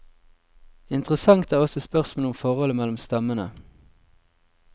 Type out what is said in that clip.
Interessant er også spørsmålet om forholdet mellom stammene.